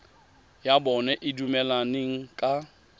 ya bona e dumelaneng ka